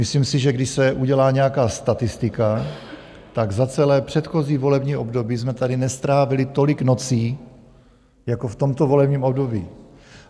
Myslím si, že když se udělá nějaká statistika, tak za celé předchozí volební období jsme tady nestrávili tolik nocí jako v tomto volebním období.